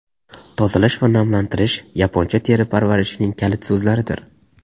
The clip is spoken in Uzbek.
Tozalash va namlantirish yaponcha teri parvarishining kalit so‘zlaridir.